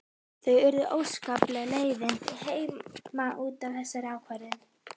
Það urðu óskapleg leiðindi heima út af þessari ákvörðun.